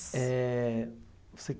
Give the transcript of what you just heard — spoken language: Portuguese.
É... Você...